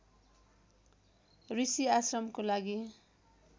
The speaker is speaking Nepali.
ऋषि आश्रमको लागि